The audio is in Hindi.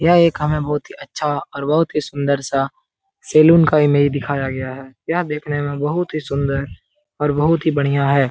यह एक हमें बहुत ही अच्छा और बहुत ही सुन्दर सा सैलून का इमेज दिखाया गया है। यह देखने में बहुत ही सुन्दर और बहुत ही बढ़िया है।